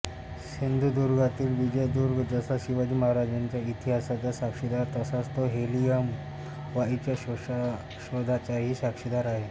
सिंधुदुर्गातील विजयदुर्ग जसा शिवाजी महाराजांच्या इतिहासाचा साक्षीदार तसाच तो हेलियम वायूच्या शोधाचाही साक्षीदार आहे